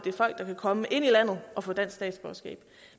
er folk der vil komme ind i landet og få dansk statsborgerskab